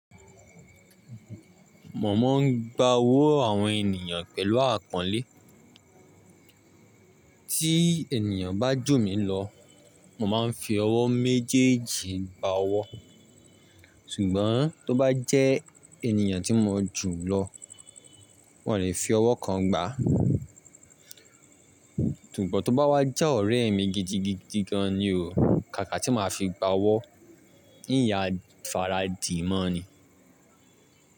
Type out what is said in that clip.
Mọ̀ mọ́ ń gba owó àwọn ènìyàn pẹ̀lú àponlẹ́. Tí ènìyàn bá jù mí lọ, mò máa ń fi ọwọ́ méjèèjì gba owó. Ṣùgbọ́n tó bá jẹ́ ènìyàn tí mọ̀ jùlọ, mo lè fi ọwọ́ kan gbá. Ṣùgbọ́n tó bá wá já ọ̀rẹ́ mi gidigidi gan ni o, kàkà tí màá fi gba owó, n yà f'ara dì mọ́ ni.